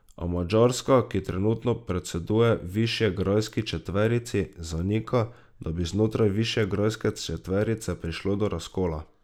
A Madžarska, ki trenutno predseduje Višegrajski četverici, zanika, da bi znotraj Višegrajske četverice prišlo do razkola.